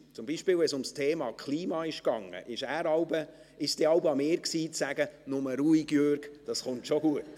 Zum Beispiel, wenn es ums Thema Klima ging, war es dann jeweils an mir, zu sagen: «Nur ruhig, Jürg Iseli, das kommt schon gut.